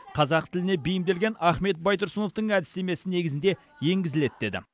қазақ тіліне бейімделген ахмет байтұрсыновтың әдістемесі негізінде енгізіледі деді